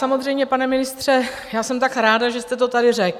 Samozřejmě, pane ministře, já jsem tak ráda, že jste to tady řekl!